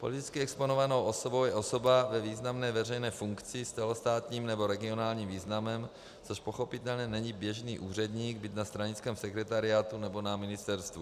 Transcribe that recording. Politicky exponovanou osobou je osoba ve významné veřejné funkci s celostátním nebo regionálním významem, což pochopitelně není běžný úředník, byť na stranickém sekretariátu nebo na ministerstvu.